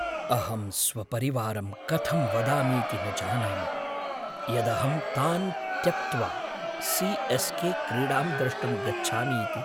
अहं स्वपरिवारं कथं वदामीति न जानामि यदहं तान् त्यक्त्वा सी.एस्.के. क्रीडां द्रष्टुं गच्छामि इति।